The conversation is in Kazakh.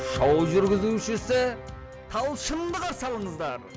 шоу жүргізушісі талшынды қарсы алыңыздар